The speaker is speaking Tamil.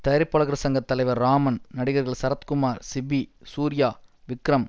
தயாரிப்பாளர்கள் சங்க தலைவர் ராமன் நடிகர்கள் சரத்குமார் சிபி சூர்யா விக்ரம்